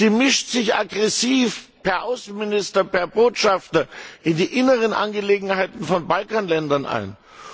Sie mischt sich aggressiv per Außenminister, per Botschafter, in die inneren Angelegenheiten von Balkanländern ein.